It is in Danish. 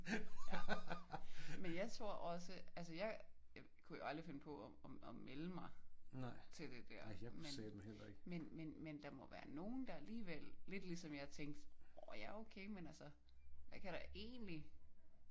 Men jeg tror også altså jeg kunne jo aldrig finde på at melde mig til det der. Men men men men der må være nogen der alligevel lidt ligesom jeg tænkte åh ja okay men altså hvad kan der egentlig?